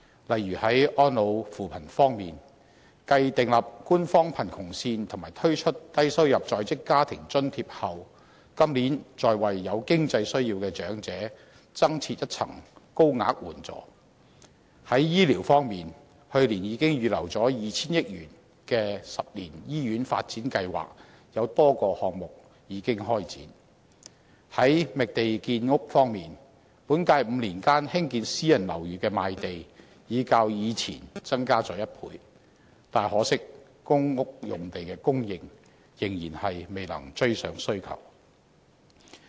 例如，在安老扶貧方面，繼訂立官方貧窮線及推出低收入在職家庭津貼後，今年再為有經濟需要的長者增設一層高額援助；在醫療方面，去年預留 2,000 億元的10年醫院發展計劃，已開展多個項目；在覓地建屋方面，本屆5年間興建私人樓宇的賣地已較過往增加了1倍，但可惜公屋用地的供應仍然未能追上需求。